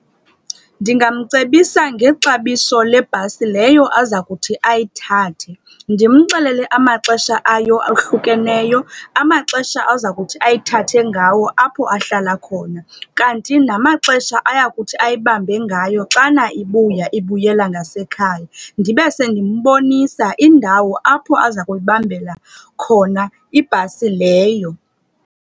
Ndingamcebisa ngexabiso lebhasi leyo aza kuthi ayithathe. Ndimxelele amaxesha ayo ohlukeneyo, amaxesha aza kuthi ayithathe ngayo apho ahlala khona. Kanti namaxesha ayakuthi ayibambe ngayo xana ibuya, ibuyela ngasekhaya. Ndibe sendimbonisa indawo apho aza kuyibambela khona ibhasi leyo.